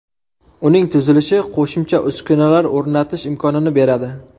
Uning tuzilishi qo‘shimcha uskunalar o‘rnatish imkonini beradi.